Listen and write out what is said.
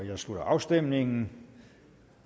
jeg slutter afstemningen